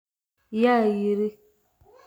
Yaa yiri